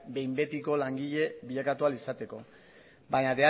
behin betiko langile bilakatu ahal izateko baina